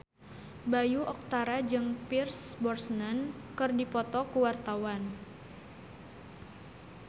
Bayu Octara jeung Pierce Brosnan keur dipoto ku wartawan